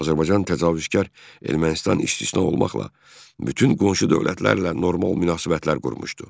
Azərbaycan təcavüzkar Ermənistan istisna olmaqla bütün qonşu dövlətlərlə normal münasibətlər qurmuşdu.